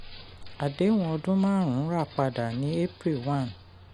àdéhùn ọdún-márùn-ún rà padà ni april one